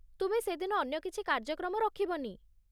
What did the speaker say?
ତୁମେ ସେ'ଦିନ ଅନ୍ୟ କିଛି କାର୍ଯ୍ୟକ୍ରମ ରଖିବନି।